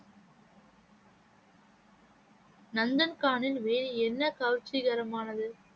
நந்தன்கானில் வேறு என்ன கவர்ச்சிகரமானது?